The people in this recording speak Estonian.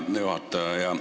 Hea juhataja!